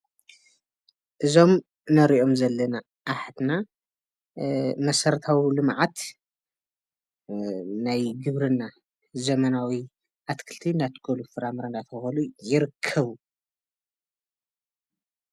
እዞም እነሪኦም ዘለና ኣሓትና መሰረታዊ ልምዓት ናይ ግብርና ዘመናዊ ኣትክልቲ እናኣትከሉ ፍራምረ እንዳተከሉ ይርከቡ፡፡